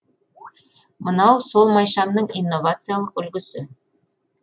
мынау сол майшамның инновациялық үлгісі